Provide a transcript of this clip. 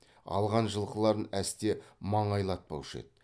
алған жылқыларын әсте маңайлатпаушы еді